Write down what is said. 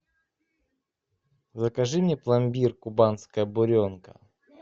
закажи мне пломбир кубанская буренка